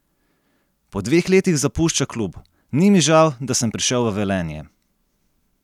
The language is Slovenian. Po dveh letih zapušča klub: "Ni mi žal, da sem prišel v Velenje.